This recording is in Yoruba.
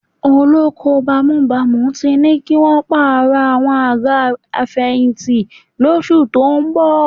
Olóko bámúbamù ti ní kí wọn ó pààrọ̀ àwọn àga abẹyìnjẹ́ lóṣù tó ń bọ̀